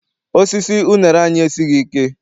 Osisi unere anyị esighị ike.